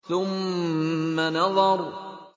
ثُمَّ نَظَرَ